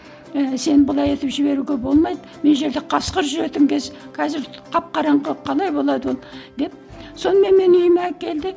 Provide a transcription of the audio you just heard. ііі сен бұлай етіп жіберуге болмайды мына жерде қасқыр жүретін кез қазір қап қараңғы қалай болады ол деп сонымен мені үйіме әкелді